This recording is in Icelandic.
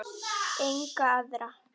Enga aðra.